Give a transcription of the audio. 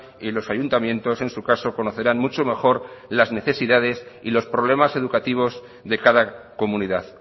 y los ayuntamientos en su caso conocerán mucho mejor las necesidades y los problemas educativos de cada comunidad